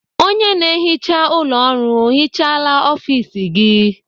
Onye na-ehicha ụlọ ọrụ ọ hicahala ọfis gị?